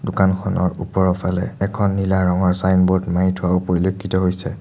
দোকানখনৰ ওপৰৰ ফালে এখন নীলা ৰঙৰ চাইনবোৰ্ড মাৰি থোৱাও পৰিলক্ষিত হৈছে।